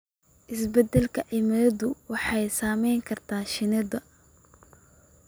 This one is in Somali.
Isbeddelka cimiladu waxay saameyn kartaa shinnida.